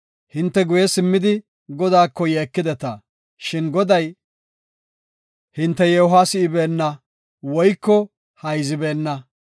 Hinte guye simmidi, Godaako yeekideta; shin Goday hinte yeehuwa si7ibeenna woyko hayzibeenna.